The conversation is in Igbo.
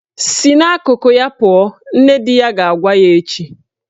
"Si n'akụkụ ya pụọ " Nne di ya ga-agwa ya echi